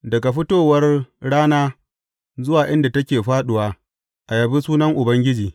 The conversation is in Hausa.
Daga fitowar rana zuwa inda take fāɗuwa, a yabi sunan Ubangiji.